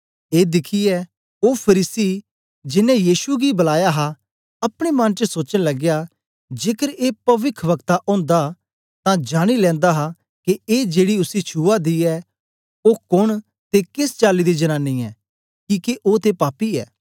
ए दिखियै ओ फरीसी जेनें यीशु गी बलाया हा अपने मन च सोचन लगया जेकर ए पविखवक्ता ओंदा तां जानी लेनदा हा के ए जेड़ी उसी छुआ दी ऐ ओ कोन ते केस चाली दी जनानी ऐ किके ओ ते पापी ऐ